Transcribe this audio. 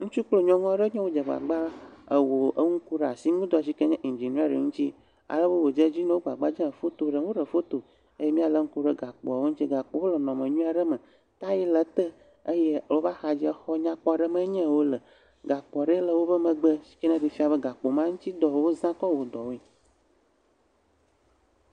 Ŋutsu kple nyɔnu aɖewo nye yewo dze agbagba wɔ enu ku asinudɔ si ke ku ɖe indziniɛri ŋuti alebe wòdze edzi na wo. Wo gbagba dzem, wo foto ɖem, woɖe foto eye míalé ŋku ɖe gakpoawo ŋuti. Gakpoawo le nɔnɔme nyui aɖe me, tayi le te eye le wobe axadzia, exɔ nyakpɔ aɖe me ye wole, gakpo le wobe megbe yi ɖee fie be gakpo ma ŋutidɔ wowɔ kɔ wɔ dɔwoe.